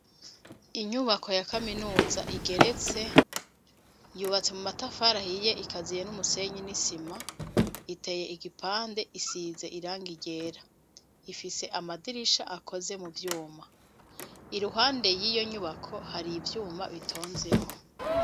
Inyubako ya kaminuza igeretse, yubatse mu matafari ahiye, ikaziye n'umusenyi n'isima, iteye igipande, isize irangi ryera, ifise amadirisha akoze mu vyuma, iruhande y'iyo nyubako hari ivyuma bitonzeho.